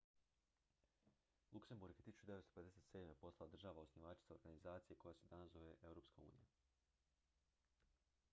luksemburg je 1957. postala država osnivačica organizacije koja se danas zove europska unija